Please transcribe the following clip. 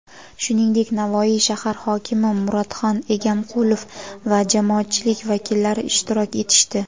shuningdek Navoiy shahar hokimi Muratxan Egamqulov va jamoatchilik vakillari ishtirok etishdi.